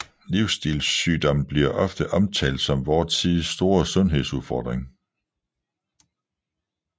Livsstilssygdomme bliver ofte omtalt som vor tids store sundhedsudfording